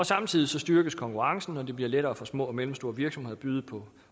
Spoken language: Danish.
samtidig styrkes konkurrencen og det bliver lettere for små og mellemstore virksomheder at byde på